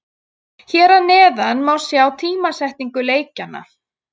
Hér að neðan má sjá tímasetningu leikjanna.